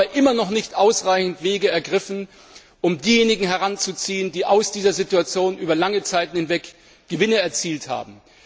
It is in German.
Sie haben aber immer noch nicht ausreichend Wege beschritten, um diejenigen heranzuziehen, die aus dieser Situation über lange Zeit hinweg Gewinne erzielt haben.